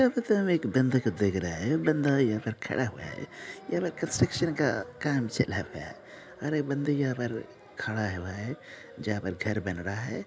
यहाँ पर तो हम एक बंदे को देख रहे है बंदा यहाँ पर खड़ा हुआ है यहाँ पर कंस्ट्रक्शन का काम चला हुआ है और एक बंदा यहाँ पर खड़ा हुआ है जहाँ पर घर बन रहा है।